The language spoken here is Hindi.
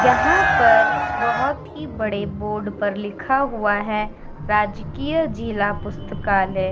यहाँ पर बोहोत ही बड़े बोर्ड पर लिखा हुआ है राजकीय जिला पुस्तकालय।